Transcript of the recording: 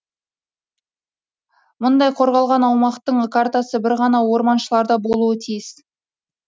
мұндай қорғалған аумақтың картасы бір ғана орманшыларда болуы тиіс